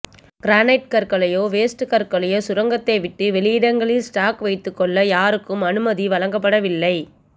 granite கற்களையோ waste கற்களையோ சுரங்கத்தை விட்டு வெளியிடங்களில் ஸ்டாக் வைத்துக்கொள்ள யாருக்கும் அனுமதி வழங்கப்படவில்லை